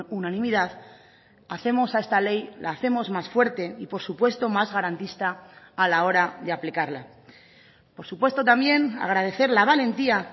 unanimidad hacemos a esta ley la hacemos más fuerte y por supuesto más garantista a la hora de aplicarla por supuesto también agradecer la valentía